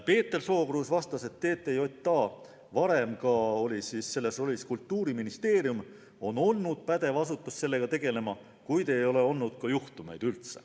Peeter Sookruus vastas, et TTJA, varem ka Kultuuriministeerium, on pädev asutus sellega tegelema, kuid seni ei ole olnud juhtumeid.